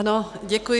Ano, děkuji.